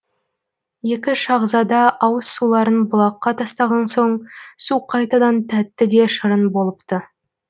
екі шахзада ауыз суларын бұлаққа тастаған соң су қайтадан тәтті де шырын болыпты